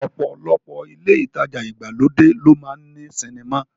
Ọ̀pọ̀lọpọ̀ ilé ìtajà ìgbàlódé ló máa ń ní sinimá